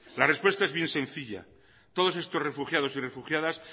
la respuesta es bien sencilla todos estos refugiados y refugiadas